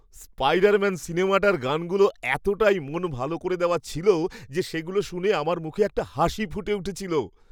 Spiderman সিনেমাটার গানগুলো এতটাই মন ভালো করে দেওয়া ছিল যে সেগুলো শুনে আমার মুখে একটা হাসি ফুটে উঠেছিল।